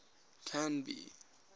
canby